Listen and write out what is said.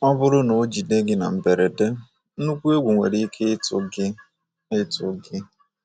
Ọ bụrụ na o jide gị na mberede, nnukwu egwu nwere ike ịtụ gị ịtụ gị.